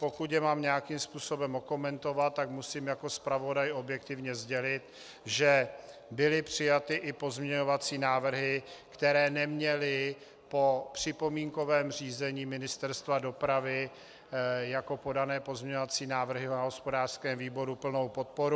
Pokud je mám nějakým způsobem okomentovat, tak musím jako zpravodaj objektivně sdělit, že byly přijaty i pozměňovací návrhy, které neměly po připomínkovém řízení Ministerstva dopravy jako podané pozměňovací návrhy na hospodářském výboru plnou podporu.